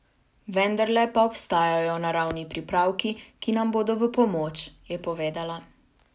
Vendarle pa obstajajo naravni pripravki, ki nam bodo v pomoč, je povedala.